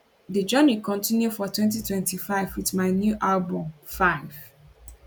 di journey continue for 2025 wit my new new album 5ive